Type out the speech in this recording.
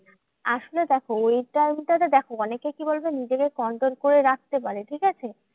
আসলে দেখো ওই time টা তে দেখো অনেকে কি বলোতো? নিজেকে control করে রাখতে পারে, ঠিকাছে?